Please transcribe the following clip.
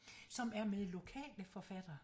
Som er med lokale forfattere